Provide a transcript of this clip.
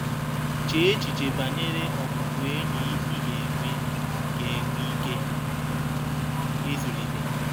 Chee echiche banyere ọbụbụenyi ị ga-enwe ga-enwe ike ịzụlite.